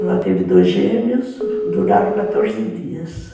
Ela teve dois gêmeos, duraram quatorze dias.